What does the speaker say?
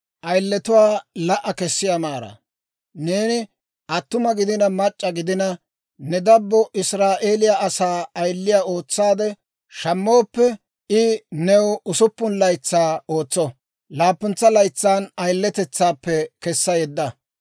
«Neeni attuma gidina mac'c'a gidina, ne dabbo Israa'eeliyaa asaa ayiliyaa ootsaade shammooppe, I new usuppun laytsaa ootso; laappuntsa laytsan ayiletetsaappe kessa yedda.